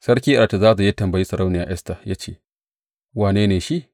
Sarki Zerzes ya tambayi Sarauniya Esta ya ce, Wane ne shi?